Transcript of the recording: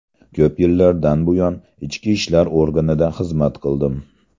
Ko‘p yillardan buyon Ichki ishlar organida xizmat qildim.